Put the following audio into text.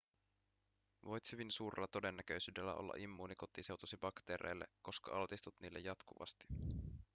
voit hyvin suurella todennäköisyydellä olla immuuni kotiseutusi bakteereille koska altistut niille jatkuvasti